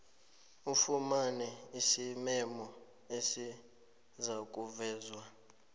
ufumane isimemo esizakuvezwa